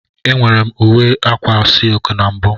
Enwere m uwe akwa silki na mbụ.